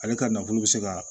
Ale ka nafolo bɛ se ka